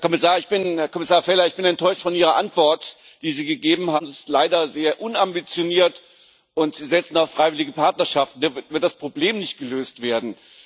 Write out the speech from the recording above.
Herr Kommissar Vella, ich bin enttäuscht von Ihrer Antwort, die Sie gegeben haben. Das ist leider sehr unambitioniert, und Sie setzen auf freiwillige Partnerschaften. Damit wird das Problem nicht gelöst werden.